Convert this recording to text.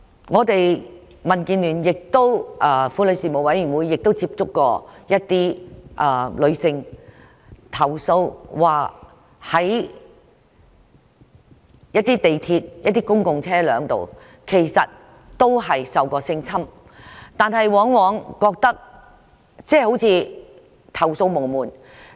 我們民主建港協進聯盟婦女事務委員會亦曾接獲一些女性投訴，指在港鐵及公共交通工具上受到性侵，但她們覺得投訴無門。